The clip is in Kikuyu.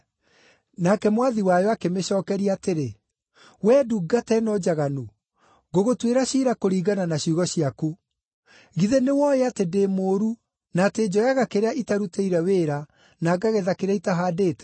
“Nake mwathi wayo akĩmĩcookeria atĩrĩ, ‘Wee ndungata ĩno njaganu! Ngũgũtuĩra ciira kũringana na ciugo ciaku. Githĩ nĩwooĩ atĩ ndĩ mũũru, na atĩ njoyaga kĩrĩa itarutĩire wĩra na ngagetha kĩrĩa itahaandĩte?